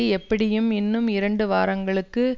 எப்படியும் இன்னும் இரண்டு வாரங்களுக்கு